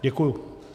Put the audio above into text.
Děkuji.